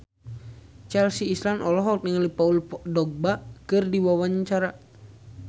Chelsea Islan olohok ningali Paul Dogba keur diwawancara